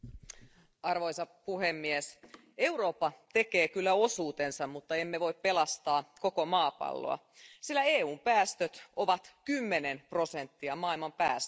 Arvoisa puhemies, Eurooppa tekee kyllä osuutensa, mutta emme voi pelastaa koko maapalloa, sillä EUn päästöt ovat 10 prosenttia maailman päästöistä.